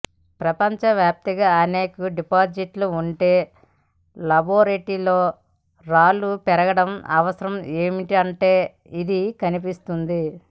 ప్రపంచవ్యాప్తంగా అనేక డిపాజిట్లు ఉంటే లాబొరేటరీలలో రాళ్ళు పెరగడం అవసరం ఏమిటంటే ఇది కనిపిస్తుంది